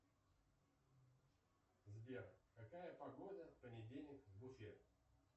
сбер какая погода в понедельник в уфе